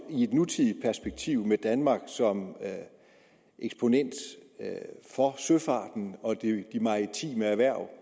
i et nutidigt perspektiv med danmark som eksponent for søfarten og de maritime erhverv